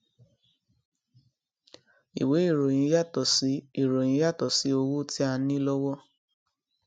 ìwé ìròyìn yàtò sí ìròyìn yàtò sí owó tí a ní lówó